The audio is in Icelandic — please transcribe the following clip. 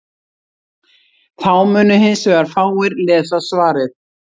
þá mundu hins vegar fáir lesa svarið